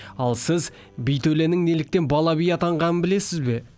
ал сіз би төленің неліктен бала би атанғанын білесіз бе